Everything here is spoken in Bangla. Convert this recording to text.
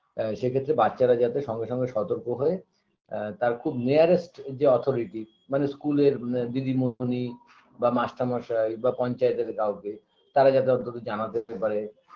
এ সেক্ষেত্রে বাচ্চারা যাতে সঙ্গে সঙ্গে সতর্ক হয়ে আ তার খুব nearest -যে authority মানে school -এর দিদিমণি বা master মশাই বা পঞ্চায়েতের কাউকে তারা যাতে অন্তত জানাতে পারে